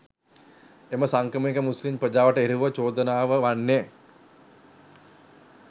එම සංක්‍රමණික මුස්ලිම් ප්‍රජාවට එරෙහි චෝදනාව වන්නේ